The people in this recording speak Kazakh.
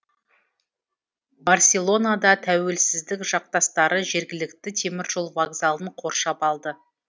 барселонада тәуелсіздік жақтастары жергілікті теміржол вокзалын қоршап алды